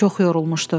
Çox yorulmuşdu.